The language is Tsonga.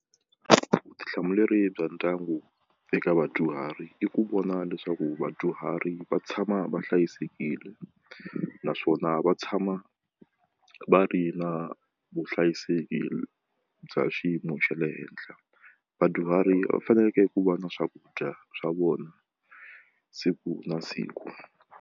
Vutihlamuleri bya ndyangu eka vadyuhari i ku vona leswaku vadyuhari va tshama va hlayisekile naswona va tshama va ri na vuhlayiseki bya xiyimo xa le henhla vadyuhari va faneleke ku va na swakudya swa vona siku na siku.